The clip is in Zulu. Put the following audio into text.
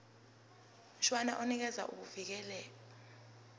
mshwana unikeza ukuvikelwa